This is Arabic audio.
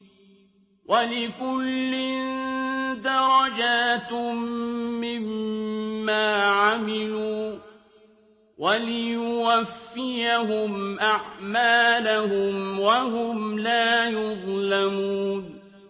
وَلِكُلٍّ دَرَجَاتٌ مِّمَّا عَمِلُوا ۖ وَلِيُوَفِّيَهُمْ أَعْمَالَهُمْ وَهُمْ لَا يُظْلَمُونَ